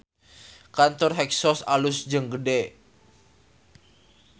Kantor Hexos alus jeung gede